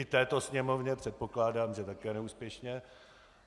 I této Sněmovně, předpokládám, že také neúspěšně.